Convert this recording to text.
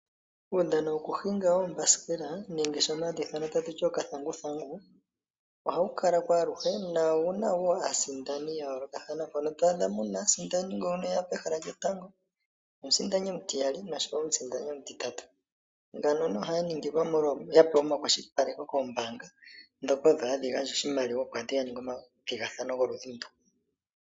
Uudhano woku hinga oobasikela nenge shono hashi ithanwa takuti okathanguthangu ohawu kalako awuhe. Owuna wo aasindani yayolokathana mpono to adha muna omusindani ngono eya pehala lyotango, omusindani omutiyali noshowo omusindani omutitatu, mbano ohaya ningilwa una yapewa omakwashilipaleko koombanga dhoka odho hadhi gandja oshimaliwa opo aantu yaninge omathigathano goludhi ndu.